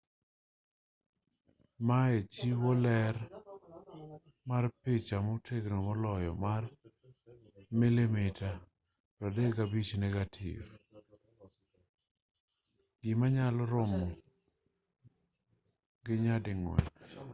maye chiwo ler mar picha motegno maloyo mar 35 mm negative 3136 mm2 versus 864 gi manyalo romo nyading'wen